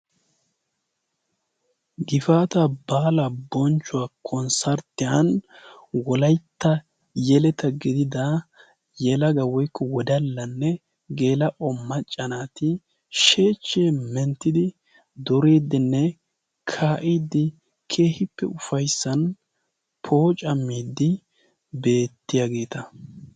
Gifaata baala bonchchuwaa konssarttiyan wolaitta yeleta gidida yelaga woykko wodallanne geela'o maccanaati sheechchee menttidi doriidinne kaa'idi kehippe ufaissan pooca miiddi beettiyaageeta.